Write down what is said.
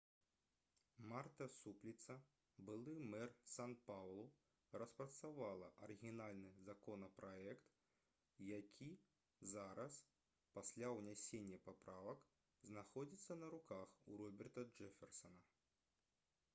марта супліца былы мэр сан-паўлу распрацавала арыгінальны законапраект які зараз пасля ўнясення паправак знаходзіцца на руках у роберта джэферсана